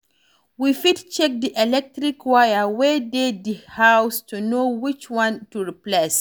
We fit check di electric wire wey dey di house to know which one to replace